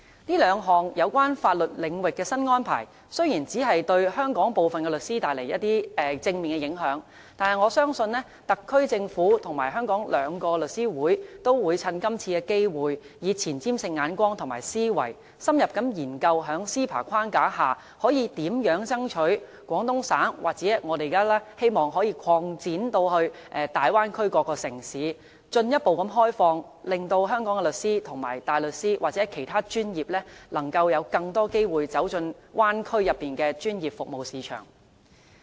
這兩項有關法律領域的新安排，雖然只對香港的部分律師帶來正面影響，但我相信特區政府和香港兩個律師會都會趁今次機會，以前瞻性的眼光和思維，深入研究在 CEPA 框架下，可以如何爭取廣東省，或我們現在希望可以擴展的大灣區各個城市進一步開放，令香港的律師和大律師，或其他專業人士，能夠有更多機會走進大灣區內的專業服務市場。